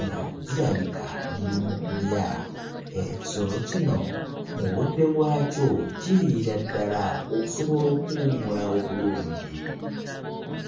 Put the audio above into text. nga zirabika liri mu kulya, ekisolo kino mu budde bwakyo kiriira ddala okusobola okuwummula obulungi.